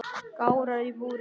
Gárar í búri